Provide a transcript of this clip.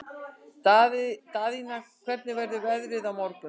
Daðína, hvernig verður veðrið á morgun?